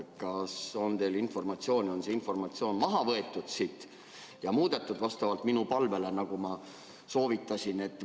Kas teile on teada, on see informatsioon siit maha võetud ja muudetud vastavalt minu palvele, nagu ma soovitasin?